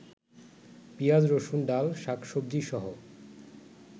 পিঁয়াজ রসুন ডাল শাকসবজিসহ